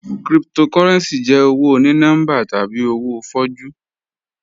Cryptocurrency jẹ owo oní-nọmbà tabi owo fọ̀jú